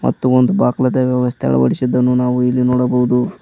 ಮತ್ತು ಒಂದು ಬಾಗಲು ವ್ಯವಸ್ಥೆ ಅಳವಡಿಸಿದ್ದನ್ನು ನಾವು ಇಲ್ಲಿ ನೋಡಬಹುದು.